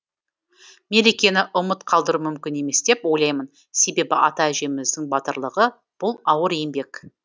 мерекені ұмыт қалдыру мүмкін емес деп ойлаймын себебі ата әжеміздің батырлығы бұл ауыр еңбек